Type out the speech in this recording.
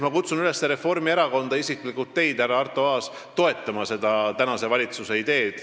Ma kutsun üles Reformierakonda ja isiklikult teid, härra Arto Aas, toetama seda tänase valitsuse ideed.